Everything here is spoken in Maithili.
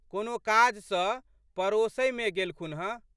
कोनो काज सँ पड़ोशहिमे गेलखुन हँ।